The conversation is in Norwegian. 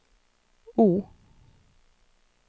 O